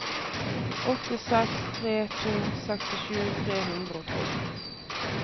åtte seks tre to sekstisju tre hundre og tolv